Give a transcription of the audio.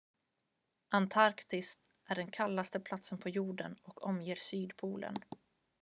antarktis är den kallaste platsen på jorden och omger sydpolen